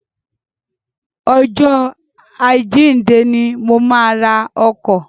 Ọjọ́ àjíǹde ni mo máa ra ọkọ̀.